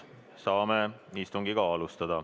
Saame istungit alustada.